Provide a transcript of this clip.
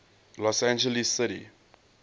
los angeles city